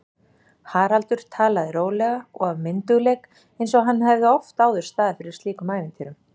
Haraldur talaði rólega og af myndugleik einsog hann hefði oft áður staðið fyrir slíkum ævintýrum.